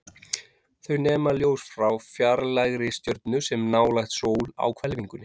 Þau nema ljós frá fjarlægri stjörnu, sem er nálægt sól á hvelfingunni.